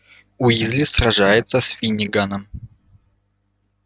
уизли сражается с финниганом